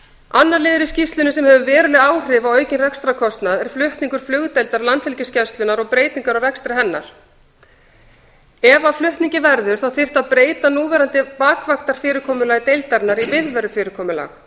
annar liður í skýrslunni sem hefur verulega áhrif á aukinn rekstrarkostnað er flutningur flugdeildar landhelgisgæslunnar og breytingar á rekstri hennar ef af flutningi verður þyrfti að breyta núverandi bakvaktafyrirkomulagi deildarinnar í viðverufyrirkomulag þá þyrfti að